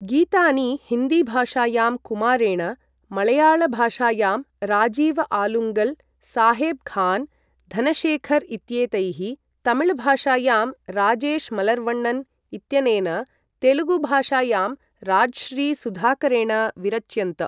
गीतानि हिन्दी भाषायां कुमारेण, मळयाळ भाषायां राजीव् आलुङ्गल्, साहेब् खान्, धनशेखर् इत्येतैः, तमिळ भाषायां राजेश् मलर्वन्नन् इत्यनेन तेलुगु भाषायां राज्श्री सुधाकरेण विरच्यन्त।